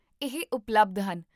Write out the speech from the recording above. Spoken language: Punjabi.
ਇਹ ਉਪਲਬਧ ਹਨ